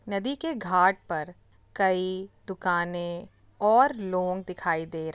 नदी के घाट पर कई दुकाने और लोग दिखाई दे रहे हैं।